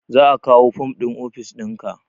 Za a kawo fom ɗin ofis ɗinka